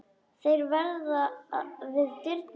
Þeir verða við dyrnar.